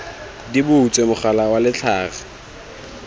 di butswe mogala wa letlhare